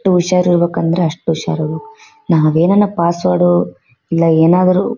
ಹುಷಾರು ಇರ್ಬೇಕ್ ಅಂದ್ರೆ ಅಷ್ಟು ಹುಷಾರು ನಾವ್ ಏನಾರ ಪಾಸ್ವರ್ಡ್ ಇಲ್ಲಾ ಏನಾದ್ರು--